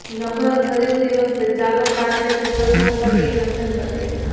નવું ઘર ખરીદતી વખતે ચાલો કારપેટ વિકલ્પો પર એક નજર કરીએ